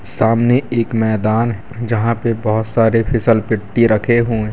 सामने एक मैदान जहाँ पे बहुत सारे फिसल पट्टी रखे हुए --